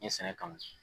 N ye sɛnɛ kanu